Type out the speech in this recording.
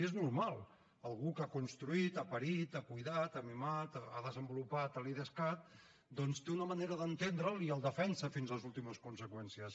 és normal algú que ha construït ha parit ha cuidat ha mimat ha desenvolupat l’idescat doncs té una manera d’entendre’l i el defensa fins a les últimes conseqüències